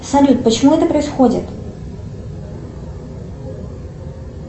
салют почему это происходит